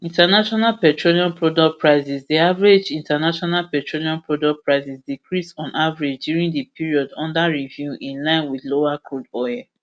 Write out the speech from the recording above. international petroleum product prices di average international petroleum product prices decrease on average during di period under review in line wit lower crude oil prices